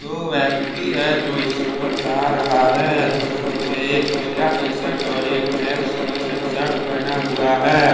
दो व्यक्ति है जो इस पर जा रहा हैं जो एक पिला टी शर्ट और ब्लैक टी श शर्ट पहना हुआ है।